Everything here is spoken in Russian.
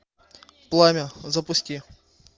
пламя запусти